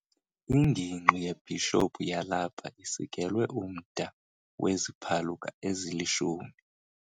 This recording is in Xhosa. Ingingqi yebhishophu yalapha isikelwe umda weziphaluka ezilishumi.